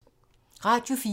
Radio 4